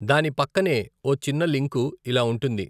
దాని పక్కనే ఓ చిన్న లింకు ఇలా ఉంటుంది.